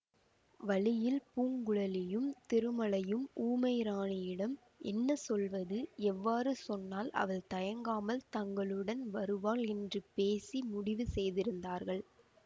வழியில் பூங்குழலியும் திருமலையும் ஊமை ராணியிடம் என்ன சொல்லுவது எவ்வாறு சொன்னால் அவள் தயங்காமல் தங்களுடன் வருவாள் என்று பேசி முடிவு செய்திருந்தார்கள்